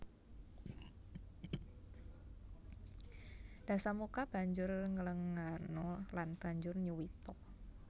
Dasamuka banjur nglenggana lan banjur nyuwita